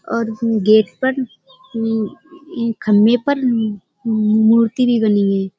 और गेट पर म्म खम्बे पर म्म मूर्ति भी बनी है।